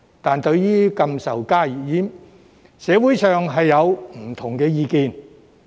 但對於禁售加熱煙，社會上有不同意見。